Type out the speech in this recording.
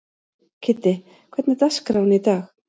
Kiddi, hvernig er dagskráin í dag?